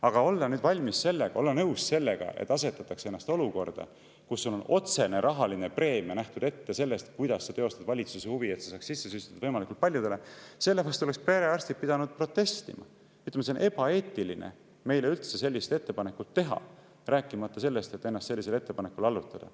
Aga olla nõus sellega, et asetada ennast olukorda, kus sul on otsene rahaline preemia nähtud ette selle eest, et sa teostad valitsuse huvi, et see saaks sisse süstitud võimalikult paljudele – selle vastu oleks perearstid pidanud protestima, ütlema, et on ebaeetiline meile üldse sellist ettepanekut teha, rääkimata sellest, et ennast sellisele ettepanekule allutada.